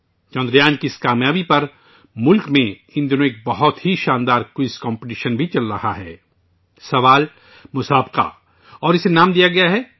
چندریان کی اس کام یابی پر ان دنوں ملک میں ایک بہت بڑا کوئز مقابلہ بھی چل رہا ہے اسے چندریان مہا کوئز نام دیا گیا ہے